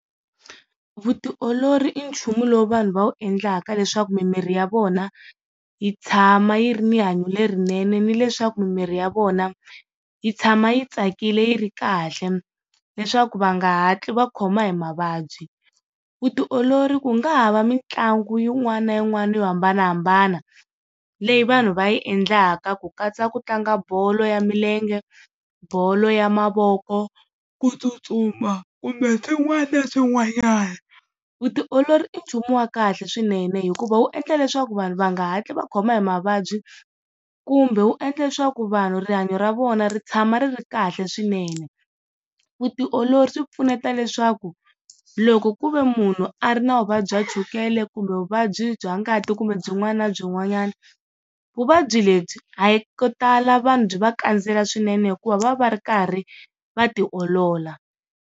Vutiolori i nchumu lowu vanhu va wu endlaka leswaku mimiri ya vona yi tshama yi ri ni rihanyo lerinene ni leswaku mimiri ya vona yi tshama yi tsakile yi ri kahle, leswaku va nga hatli va khoma hi mavabyi. Vutiolori ku nga ha va mitlangu yin'wana na yin'wana yo hambanahambana leyi vanhu va yi endlaka ku katsa ku tlanga bolo ya milenge, bolo ya mavoko kutsutsuma kumbe swin'wana na swin'wanyana. Vutiolori i nchumu wa kahle swinene hikuva wu endla leswaku vanhu va nga hatli va khoma hi mavabyi kumbe wu endla leswaku vanhu rihanyo ra vona ri tshama ri ri kahle swinene. Vutiolori swi pfuneta leswaku loko ku ve munhu a ri na vuvabyi bya chukele kumbe vuvabyi bya ngati kumbe byin'wana na byin'wanyana vuvabyi lebyi a hi ko tala vanhu byi va kandziyela swinene hikuva va va va ri karhi va tiolola.